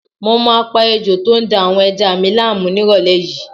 Mo máa pa ejò tó ń da àwọn ẹja mi láàmú nírọ̀lẹ́ yìí